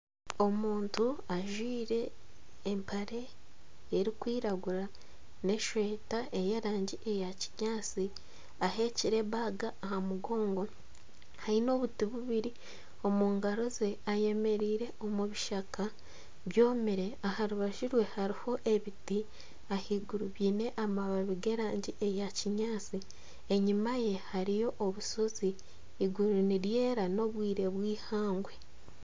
Omuntu ajwire empare erikwiragura n'eshweta ey'erangi eya kinyaatsi aheekire baga aha mugongo aine obuti bubiri omu ngaro ze ayemereire omu bishaka byomire aha rubaju rwe hariho ebiti ahaiguru giine amababi g'erangi eya kinyaatsi enyima ye hariyo obushozi eiguru niryera n'obwire bw'eihangwe